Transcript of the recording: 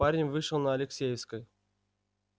парень вышел на алексеевской